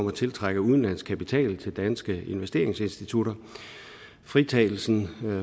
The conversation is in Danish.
at tiltrække udenlandsk kapital til danske investeringsinstitutter fritagelsen